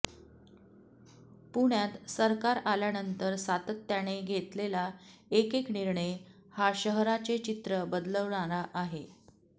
पुण्यात सरकार आल्यानंतर सातत्याने घेतलेला एकेक निर्णय हा शहराचे चित्र बदलवणारा आहे